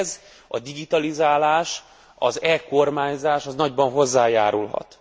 És ehhez a digitalizálás, az e kormányzás nagyban hozzájárulhat.